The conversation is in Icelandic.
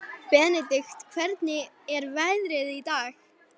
Benedikt, hvernig er veðrið í dag?